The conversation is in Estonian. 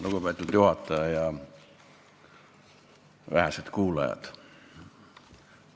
Lugupeetud juhataja ja vähesed kuulajad!